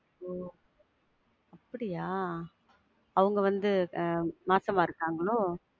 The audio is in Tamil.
ஒ அப்படியா? அவங்க வந்து ஆஹ் மாசமா இருக்காங்களோ?